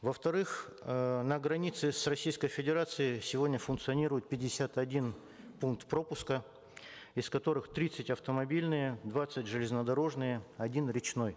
во вторых эээ на границе с российской федерацией сегодня функционирует пятьдесят один пункт пропуска из которых тридцать автомобильные двадцать железнодорожные один речной